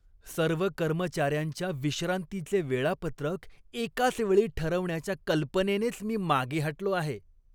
सर्व कर्मचाऱ्यांच्या विश्रांतीचे वेळापत्रक एकाच वेळी ठरवण्याच्या कल्पनेनेच मी मागे हटलो आहे.